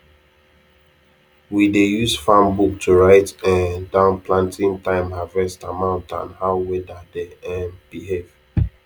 we dey use farm book to write um down planting time harvest amount and how weather dey um behave